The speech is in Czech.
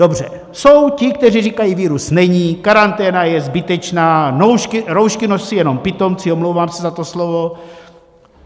Dobře, jsou ti, kteří říkají virus není, karanténa je zbytečná, roušky nosí jenom pitomci - omlouvám se za to slovo.